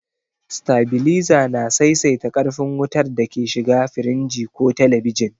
Sitabiliza na saisaita ƙarfin wutar da ke shiga firinji ko telebijin.